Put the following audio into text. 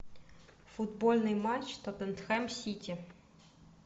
футбольный матч тоттенхэм сити